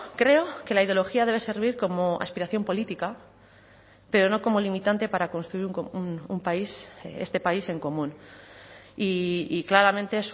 creo que la ideología debe servir como aspiración política pero no como limitante para construir un país este país en común y claramente